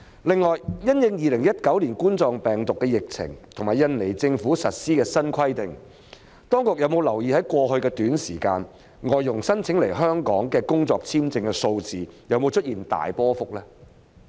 另外，因應2019年冠狀病毒病疫情，以及印尼政府實施的新規定，當局有否留意在過去一段短時間，外傭申請來香港工作的簽證數字有否出現大波幅變動？